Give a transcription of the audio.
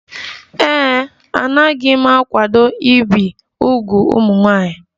Ee e, anaghị m akwado ibi úgwù ụmụ nwanyị